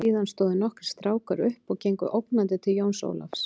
Síðan stóðu nokkrir strákar upp og gengu ógnandi til Jóns Ólafs.